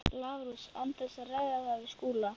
Svo hún þurfti að skoða þig á nærklæðunum!